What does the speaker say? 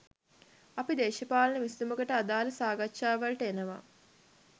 අපි දේශපාලන විසදුමකට අදාළ සාකාච්ඡා වලට එනවා